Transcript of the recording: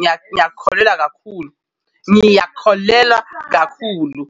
Ngiyakholelwa kakhulu, ngiyakholelwa kakhulu.